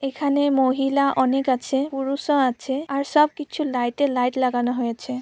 এখানে মহিলা অনেক আছে পুরুষও আছে আর সবকিছু লাইটের লাইট লাগানো হয়েছে।